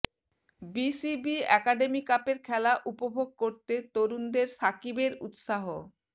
BCB academy কাপের খেলা উপভোগ করতে তরুণদের সাকিবের উৎসাহ